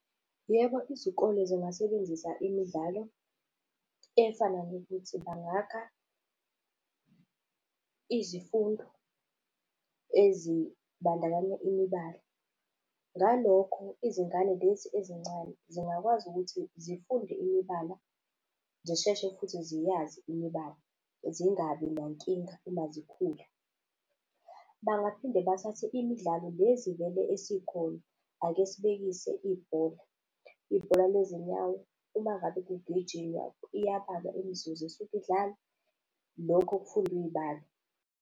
Yebo, izikole zingasebenzisa imidlalo efana nokuthi, bangakha izifundo ezibandakanya imibala. Ngalokho, izingane lezi ezincane zingakwazi ukuthi zifunde imibala, zisheshe futhi ziyazi imibala zingabi nankinga uma zikhula. Bangaphinde bathathe imidlalo le zivele esikhona. Ake sibekise ibhola, ibhola lezinyawo uma ngabe kugijinywa, iyabalwa imizuzu esuke idlalwa, lokho kufundwa iy'balo.